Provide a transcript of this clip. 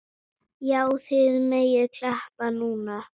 Já, þið megið klappa núna.